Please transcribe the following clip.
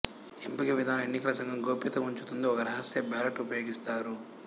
ఎంపిక విధానం ఎన్నికల సంఘం గోప్యతా ఉంచుతుంది ఒక రహస్య బ్యాలెట్ ఉపయోగిస్తారు